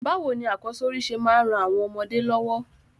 Bàwoni akọ́sórí se máa n ran àwon ọmọdé lọ́wọ́?